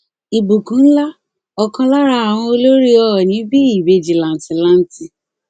ìbùkún ńlá ọkàn lára àwọn olórí ọọnì bí ìbejì làǹtìlanti